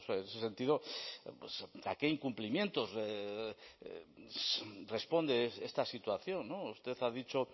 en ese sentido a qué incumplimientos responde esta situación usted ha dicho